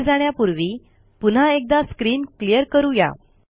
पुढे जाण्यापूर्वी पुन्हा एकदा स्क्रीन क्लियर करू या